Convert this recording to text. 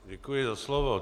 Děkuji za slovo.